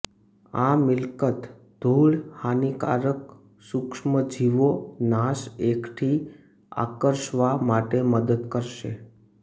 આ મિલકત ધૂળ હાનિકારક સૂક્ષ્મજીવો નાશ એકઠી આકર્ષવા માટે મદદ કરશે